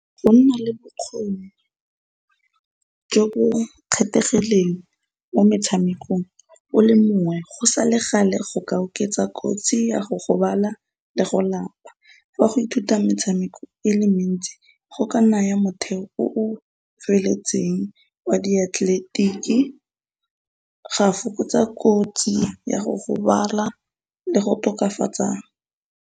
Go nna le bokgoni jo bo kgethegileng mo metshamekong o le mongwe go sa le gale go ka oketsa kotsi ya go gobala le go lapa. Fa go ithuta metshameko e le mentsi go ka naya motheo o tsweletseng wa diatleletiki, ga fokotsa kotsi ya go gobala le go tokafatsa.